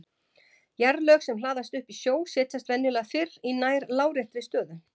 Jarðlög sem hlaðast upp í sjó setjast venjulega fyrir í nær láréttri stöðu.